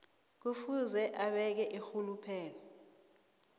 kufuze abeke irhuluphelo